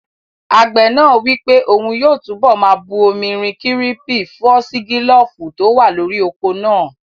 Àgbẹ̀ náà wí pé òun yóò túnbọ̀ máa bu omi rin kírípìn fúọ́sígílófù tó wà lórí oko náà